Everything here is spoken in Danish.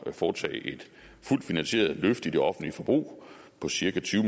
at foretage et fuldt finansieret løft i det offentlige forbrug på cirka tyve